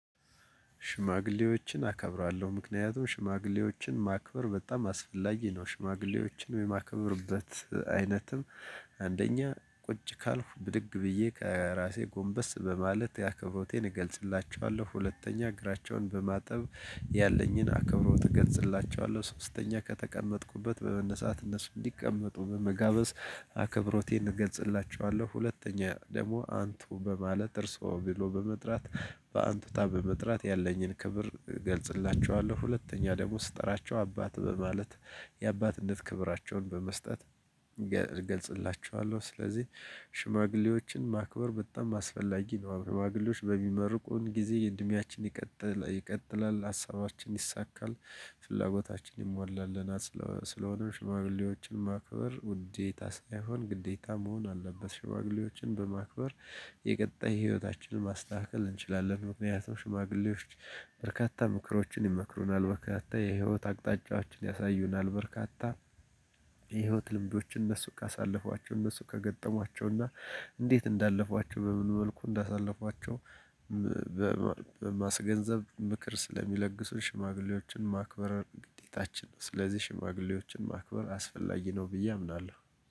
ሽማግሌዎችን አከብራለሁ ምክንያቱም ሽማግሌዎችን ማክበር በጣም አስፈላጊ ነው። ሽማግሌዎችን የማከብርበት አይነትም አንደኛ ቁጭ ካልኩ ብድግ ብዬ ከራሴ ጎንበስ በማለት ያክብሮቴን እገልጽላቸዋለሁ። ሁለተኛ እግራቸውን በማጠብ ያለኝን አከብሮት እገልጽላቸዋለሁ። ሶስተኛ ከተቀመጥኩበት በመነሳት እነሱ እንዲቀመጡ በመጋበዝ አክብሮቴን እገልጽላቸዋለሁ። ሁለተኛ ደግሞ አንቱ በማለት እርሶ ብሎ በመጥራት በአንቱታ በመጥራት ያለኝን ክብር እገልጽላቸዋለሁ። ሁለተኛ ደግሞ ስጠራቸው አባት በማለት የአባትነት ክብራቸውን በመስጠት እገልጽላቸዋለሁ። ስለዚህ ሽማግሌዎችን ማክበር በጣም አስፈላጊ ነው ሽማግሎች በሚመርቁን ጊዜ እድሜያችን ይቀጥ ይቀጥላል ሀሳባችን ይሳካል። ፍላጎታችን ይሟላልናል ስለሆነም ሽማግሌዎችን ማክበር ውዴታ ሳይሆን ግዴታ መሆን አለበት። ሽማግሌዎችን በማክበር የቀጣይ ህይወታችንን ማስተካከል እንችላለን። ምክንያቱም ሽማግሌዎች በርካታ ምክሮችን ይመክሩናል በርካታ የህይወት አቅጣጫዎችን ያሳዩናል። በርካታ የህይወት ልምዶችን እነሱ ካሳለፏቸው እነሱ ከገጠሟቸው እና እንዴት እንዳለፏቸው በምን መልኩ እንዳሳለፏቸው ምበማ በማስገንዘብ ምክር ስለሚለግሱን ሽማግሌዎችን ማክበር ግዴታችን ነው። ስለዚህ ሽማግሌዎችን ማክበር አስፈላጊ ነው። ብዬ አምናለሁ።